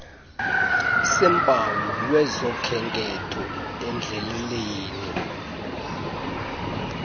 seempawu lwezokhenketho endleleleni